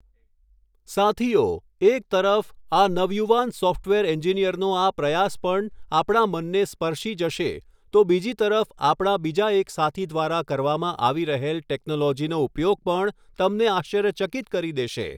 સાથીઓ, એક તરફ, આ નવયુવાન સૉફ્ટવેર એન્જિનિયરનો આ પ્રયાસ પણ આપણા મનને સ્પર્શી જશે તો બીજી તરફ આપણા બીજા એક સાથી દ્વારા કરવામાં આવી રહેલ ટૅક્નૉલૉજીનો ઉપયોગ પણ તમને આશ્ચર્યચકિત કરી દેશે.